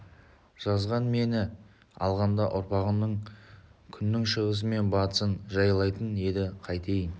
жазған мені алғанда ұрпағың күннің шығысы мен батысын жайлайтын еді қайтейін